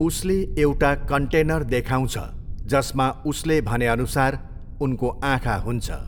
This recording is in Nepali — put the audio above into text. उसले एउटा कन्टेनर देखाउँछ जसमा उसले भनेअनुसार उनको आँखा हुन्छ।